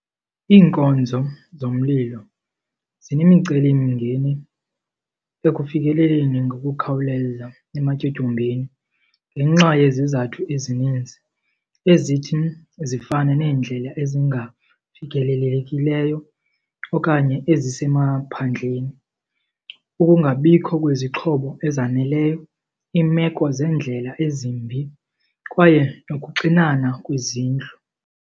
Iinkonzo zomlilo zinemicelimngeni ekufikeleleni ngokukhawuleza ematyotyombeni ngenxa yezizathu ezininzi ezithi zifane neendlela ezingafikelelelekileyo okanye ezisemaphandleni, ukungabikho kwezixhobo ezaneleyo, iimeko zeendlela ezimbi kwaye nokuxinana kwezindlu.